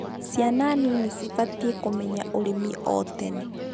Ciana nini cibatiĩ kũmenya ũrĩmi o,tene